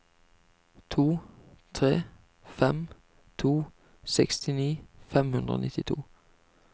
to tre fem to sekstini fem hundre og nittito